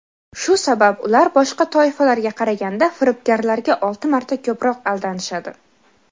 Shu sabab ular boshqa toifalarga qaraganda firibgarlarga olti marta ko‘proq aldanishadi.